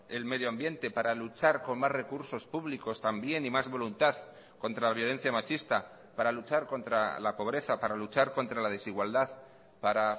el medio ambiente para luchar con más recursos públicos también y más voluntad contra la violencia machista para luchar contra la pobreza para luchar contra la desigualdad para